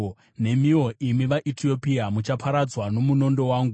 “Nemiwo, imi vaEtiopia, muchaparadzwa nomunondo wangu.”